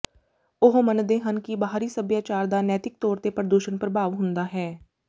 ਉਹ ਮੰਨਦੇ ਹਨ ਕਿ ਬਾਹਰੀ ਸੱਭਿਆਚਾਰ ਦਾ ਨੈਤਿਕ ਤੌਰ ਤੇ ਪ੍ਰਦੂਸ਼ਣ ਪ੍ਰਭਾਵ ਹੁੰਦਾ ਹੈ